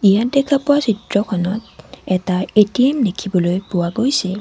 ইয়াত দেখা পোৱা চিত্ৰখনত এটা এ_টি_এম দেখিবলৈ পোৱা গৈছে।